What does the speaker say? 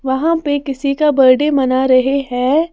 वहाँ पे किसी का बर्थडे मना रहे हैं।